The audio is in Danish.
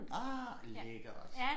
Ah lækkert